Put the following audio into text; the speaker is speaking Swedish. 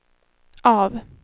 av